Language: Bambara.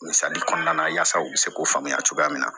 Misali kɔnɔna na yaasa u bɛ se k'u faamuya cogoya min na